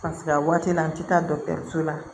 Ka seg'a waati la an tɛ taa so la